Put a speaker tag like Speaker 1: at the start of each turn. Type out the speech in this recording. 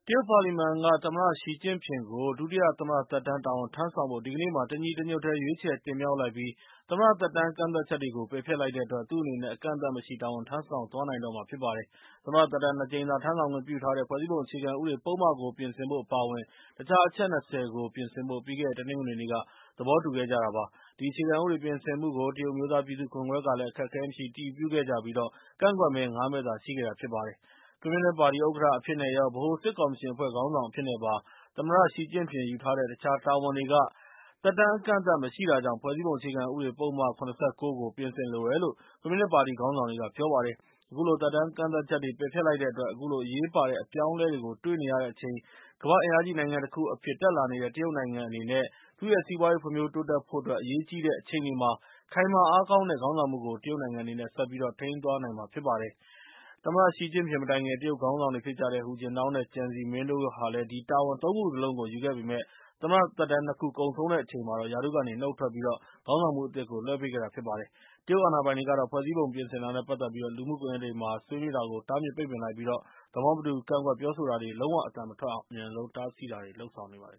Speaker 1: တ်ပါလီမန်က သမ္မတရှီကျင့်ဖျင်ကို ဒုတိယသမ္မတသက်တမ်းတာဝန်ထမ်းဆောင်ဖို့ ဒီကနေ့မှာ တညီတညွှတ်တည်း ရွေးချယ် တင်မြှောက် လိုက်ပြီး၊ သမ္မတသက်တမ်းကန့်သတ်ချက်တွေကို ပယ်ဖျက်လိုက်တဲ့အတွက် သူ့အနေနဲ့ အကန့်အသတ်မရှိတာဝန်ထမ်းဆောင် သွားနိုင်မှာ ဖြစ်ပါတယ်။ သမ္မတသက်တမ်း ၂ ကြိမ်သာထမ်းဆောင်ခွင့်ပြုထားတဲ့ ဖွဲ့စည်းပုံအခြေခံဥပဒေပုဒ်မကို ပြင်ဆင်ဖို့ အပါအဝင် တခြား အချက် ၂၀ ကို ပြင်ဆင်ဖို့ ပြီးခဲ့တဲ့ တနင်္ဂနွေနေ့က သဘောတူခဲ့ကြတာဖြစ်ပါတယ်။ ဒီအခြေခံဥပဒေပြင်ဆင်မှုကို တရုတ်အမျိုးသား ပြည်သူ့ကွန်ဂရက်က အခက်အခဲမရှိ အတည်ပြုခဲ့ကြပြီး ကန့်ကွက်မဲ ၅ မဲသာရှိခဲ့တာဖြစ်ပါတယ်။ ကွန်မြူနစ်ပါတီဥက္ကဋ္ဌအဖြစ်နဲ့ရော ၊ ဗဟိုစစ်ကော်မရှင်အဖွဲ့ခေါင်းဆောင်အဖြစ်နဲ့ပါ သမ္မတရှီကျင့်ဖျင် ယူထားတဲ့ တခြားတာဝန်တွေက သက်တမ်း အကန့်အသတ် မရှိတာကြောင့် ဖွဲ့စည်းပုံအခြေခံဥပဒေ ပုဒ်မ ၇၉ ကို ပြင်ဆင်ဖို့လိုအပ်တယ်လို့ ကွန်မြူနစ်ပါတီခေါင်းဆောင်တွေက ပြောကြပါတယ်။ အခုလို သက်တမ်းကန့်သတ်ချက်တွေကို ပယ်ဖျက်လိုက်တဲ့အတွက် အခုလို အရေးပါတဲ့အပြောင်းအလဲတွေကို တွေ့နေရတဲ့အချိန် ကမ္ဘာ့အင်အားကြီးနိုင်ငံတခုအဖြစ် တက်လာနေတဲ့ တရုတ်နိုင်ငံအနေနဲ့ သူ့ရဲ့စီးပွားရေးဖွံ့ဖြိုးတိုးတက်ဖို့အတွက် အရေးကြီးနေတဲ့အချိန်တွေမှာ ခိုင်မာအားကောင်းတဲ့ခေါင်းဆောင်မှုကို တရုတ်နိုင်ငံအနေနဲ့ ဆက်ပြီး ထိန်းသွားနိုင်မှာဖြစ်တယ်လို့ ဆိုပါတယ်။ သမ္မတရှီကျင့်ဖျင် မတိုင်ခင် တရုတ်ခေါင်းဆောင်တွေဖြစ်ကြတဲ့ ဟူကျင်းတောင် နဲ့ ကျန်ဇီမင်းတို့ဟာလည်း အဲဒီ တာဝန် ၃ ခုစလုံးကို ယူခဲ့ပေမယ့် သမ္မတသက်တမ်း ၂ ခုကုန်ဆုံးတဲ့အချိန်မှာတော့ ရာထူးကနေ နှုတ်ထွက်ပြီး ခေါင်းဆောင်မှုအသစ်ကို လွဲှပေးခဲ့တာဖြစ်ပါတယ်။ တရုတ်အာဏာပိုင်တွေကတော့ ဖွဲ့စည်းပုံပြင်ဆင်တာနဲ့ ပတ်သက်ပြီး လူမှုကွန်ရက်တွေမှာ ဆွေးနွေးတာတွေကို တားမြစ်ပိတ်ပင်လိုက်ပြီး၊ သဘောမတူ ကန့်ကွက်ပြောဆိုတာတွေ လုံးဝအသံမထွက်အောင် အမြန်ဆုံး တားဆီးတာတွေလုပ်ဆောင်နေပါတယ်